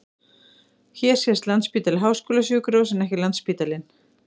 Hér sést Landspítali- háskólasjúkrahús en ekki Landsspítalinn.